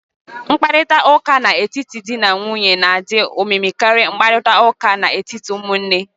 Nkparịta ụka n'etiti dị na nwunye n'adị omimi karịa nkparịta ụka n'etiti ụmụnne